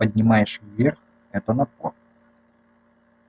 поднимаешь вверх это напор